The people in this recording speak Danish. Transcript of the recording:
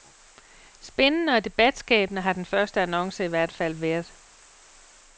Spændende og debatskabende har den første annonce i hvert tilfælde været.